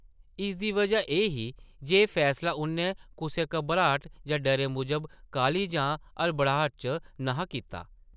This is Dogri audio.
इसदी बजह एह् ही जे एह् फैसला उʼन्नै कुसै घबराट जां डरै मूजब काह्ली जां हड़बड़ाह्ट च न’हा कीता ।